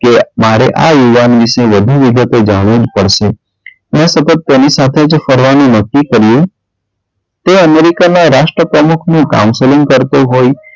કે મારે આ યુવાન વિષે વધુ વિગતો જાણવી જ પડશે પણ સતત તેની સાથે જ ફરવાનું નક્કી કર્યું તે અમેરિકાના રાષ્ટ્રપ્રમુખ નું counselling કરતો હોય,